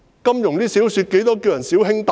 金庸小說中亦經常稱呼"小兄弟"的。